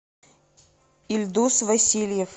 ильдус васильев